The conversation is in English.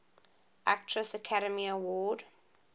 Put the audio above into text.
actress academy award